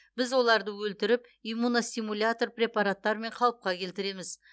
біз оларды өлтіріп иммуностимулятор препараттармен қалыпқа келтіреміз